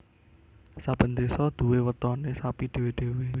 Saben désa duwé wetoné sapi dhéwé dhéwé